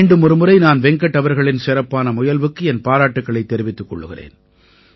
மீண்டும் ஒருமுறை நான் வெங்கட் அவர்களின் சிறப்பான முயல்வுக்கு என் பாராட்டுக்களைத் தெரிவித்துக் கொள்கிறேன்